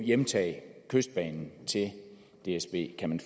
hjemtage kystbanen til dsb kan